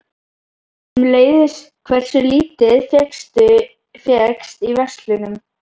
Sömuleiðis hversu lítið fékkst í verslunum.